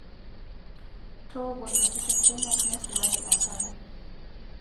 Tooko ntokitin kumok neisulaki enkare.